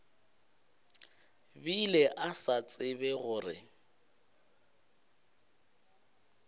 bile a sa tsebe gore